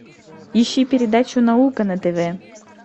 ищи передачу наука на тв